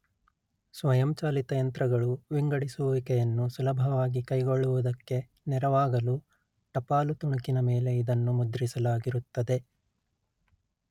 ಸ್ವಯಂಚಾಲಿತ ಯಂತ್ರಗಳು ವಿಂಗಡಿಸುವಿಕೆಯನ್ನು ಸುಲಭವಾಗಿ ಕೈಗೊಳ್ಳುವುದಕ್ಕೆ ನೆರವಾಗಲು ಟಪಾಲು ತುಣುಕಿನ ಮೇಲೆ ಇದನ್ನು ಮುದ್ರಿಸಲಾಗಿರುತ್ತದೆ